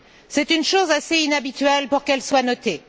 C'est une chose assez inhabituelle pour qu'elle soit notée.